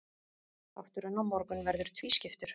Þátturinn á morgun verður tvískiptur.